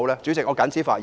主席，我謹此發言。